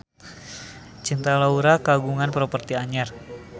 Cinta Laura kagungan properti anyar